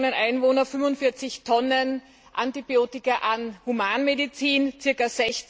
8 Millionen Einwohnern 45 Tonnen Antibiotika in der Humanmedizin und ca.